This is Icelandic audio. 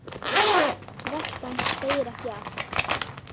Veltan segir ekki allt.